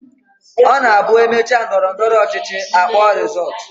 Ọ na-abụ e mechaa ndọrọndọrọ ọchịchị, a kpọọ rịzọọtụ